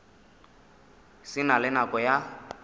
se na le nako ya